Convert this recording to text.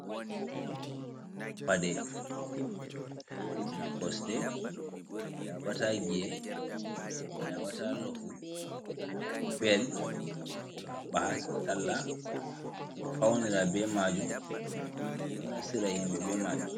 Paɗe owotina cosɗe, yaɓata gie a yabata lofu bel habba alado faunira be majum, ɓeɗo nasira himɓe be majum.